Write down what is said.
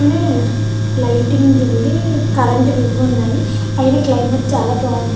Lighting ఉంది. Current ఇవి ఉన్నాయి. నాకు క్లైమేట్ చాలా బాగుంది.